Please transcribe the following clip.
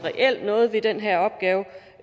noget ved den her opgave